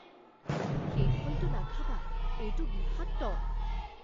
সেই ফলটো নাখাবা। এইটো বিষাক্ত।